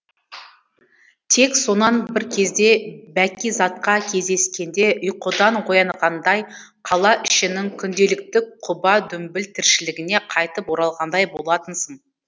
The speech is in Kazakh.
тек сонан бір кезде бәкизатқа кездескенде ұйқыдан оянғандай қала ішінің күнделікті құба дүмбіл тіршілігіне қайтып оралғандай болатынсың